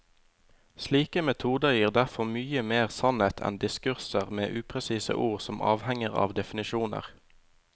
Slike metoder gir derfor mye mer sannhet enn diskurser med upresise ord som avhenger av definisjoner.